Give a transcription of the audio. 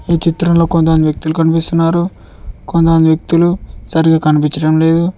ఈ చిత్రంలో కొంతమంది వ్యక్తులు కనిపిస్తున్నారు కొంత వ్యక్తులు సరిగా కనిపిచటం లేదు.